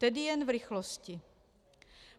Tedy jen v rychlosti.